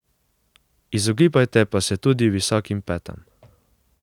Izogibajte pa se tudi visokim petam.